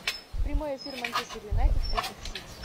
прямой эфир манчестер юнайтед против сити